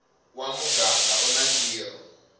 wa muganga u na ntirho